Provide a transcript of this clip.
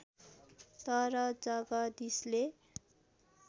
तर जगदीशले